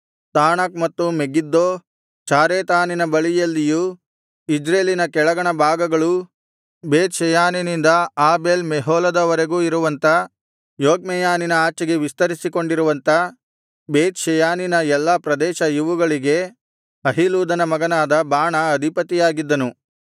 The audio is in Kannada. ತಾಣಕ್ ಮತ್ತು ಮೆಗಿದ್ದೋ ಚಾರೆತಾನಿನ ಬಳಿಯಲ್ಲಿಯೂ ಇಜ್ರೇಲಿನ ಕೆಳಗಣಭಾಗಗಳೂ ಬೇತ್ ಷೆಯಾನಿನಿಂದ ಆಬೇಲ್ ಮೆಹೋಲದವರೆಗೂ ಇರುವಂಥ ಯೊಕ್ಮೆಯಾನಿನ ಆಚೆಗೆ ವಿಸ್ತರಿಸಿಕೊಂಡಿರುವಂಥ ಬೇತ್ ಷೆಯಾನಿನ ಎಲ್ಲಾ ಪ್ರದೇಶ ಇವುಗಳಿಗೆ ಅಹೀಲೂದನ ಮಗನಾದ ಬಾಣಾ ಅಧಿಪತಿಯಾಗಿದ್ದನು